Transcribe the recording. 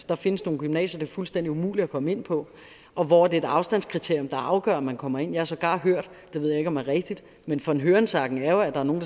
der findes nogle gymnasier fuldstændig umuligt at komme ind på og hvor det er et afstandskriterium der afgør om man kommer ind jeg har sågar hørt det ved jeg om er rigtigt men von hørensagen er jo at der er nogle